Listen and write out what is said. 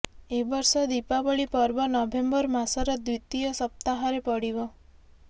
ଏବର୍ଷ ଦୀପାବଳି ପର୍ବ ନଭେମ୍ବର ମାସର ଦ୍ବିତୀୟ ସପ୍ତାହରେ ପଡ଼ିବ